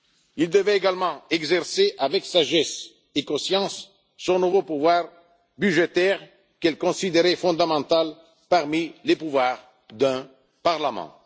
élue. Il devait également exercer, avec sagesse et conscience, son nouveau pouvoir budgétaire, qu'elle considérait fondamental parmi les pouvoirs d'un parlement.